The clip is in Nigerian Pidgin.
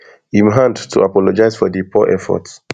im hand to apologize for di poor effort